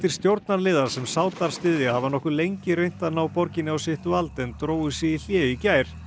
stjórnarliða sem Sádar styðja hafa nokkuð lengi reynt að ná borginni á sitt vald en drógu sig í hlé í gær